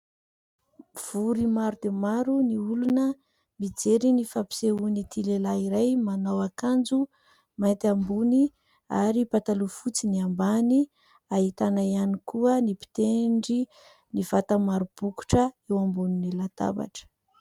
V;ory maro dia maro ny olona mijery ny fampisehoan'ity lehilahy iray manao akanjo mainty ambony ary pataloha fotsy ny ambany. Ahitana ihany koa ny mpitendry ny vata maro bokotra eo ambonin'ny latabatra.